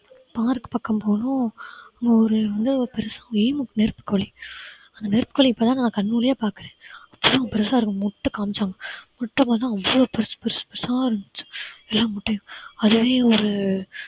park பக்கம் போறோம் அங்க ஒரு வந்து பெருசா ஒரு ஈமு நெருப்புக் கோழி. அந்த நெருப்புக்கோழி இப்பதான் நான் கண் முன்னே பாக்குறேன் அவ்வளவு பெருசா இருக்கும் முட்டை காமிச்சாங்க முட்டை பார்த்தா அவ்ளோ பெருசு பெருசு பெருசா இருந்துச்சு. எல்லா முட்டையும் அதை வந்து